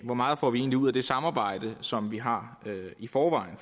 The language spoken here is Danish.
hvor meget får vi egentlig ud af det samarbejde som vi har i forvejen